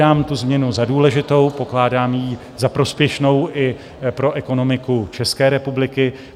Pokládám tu změnu za důležitou, pokládám ji za prospěšnou i pro ekonomiku České republiky.